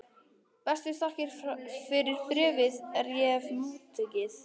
Bestu þakkir fyrir bréfið er ég hef móttekið.